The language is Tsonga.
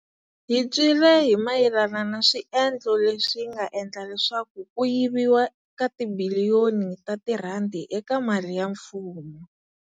Hi twile hi mayelana na swiendlo leswi nga endla leswaku ku yiviwa ka tibiliyoni ta tirhandi eka mali ya mfumo.